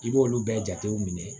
I b'olu bɛɛ jatew minɛ